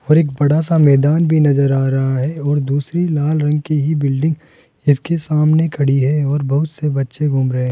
और एक बड़ा सा मैदान भी नजर आ रहा है और दूसरी लाल रंग की ही बिल्डिंग इसके सामने खड़ी है और बहुत से बच्चे घूम रहे है।